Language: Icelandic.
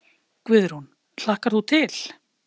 Guðrún: Hlakkar þú til?